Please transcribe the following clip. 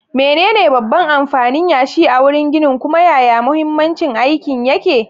Menene babban amfanin yashi a wurin ginin, kuma yaya mahimmancin aikin yake?